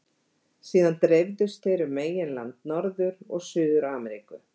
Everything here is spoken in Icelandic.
Síðan dreifðust þeir um meginland Norður- og Suður-Ameríku.